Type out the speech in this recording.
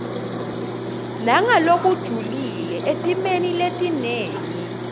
nangalokujulile etimeni letinengi